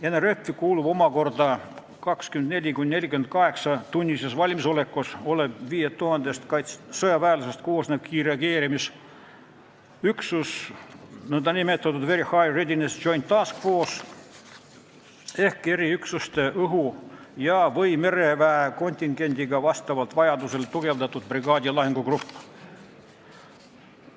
NRF-i kuulub 24–48-tunnises valmisolekus olev 5000 sõjaväelasest koosnev kiirreageerimisüksus, nn Very High Readiness Joint Task Force ehk eriüksuste õhu- ja/või mereväe kontingendiga vastavalt vajadusele tugevdatud brigaadisuurune lahingugrupp.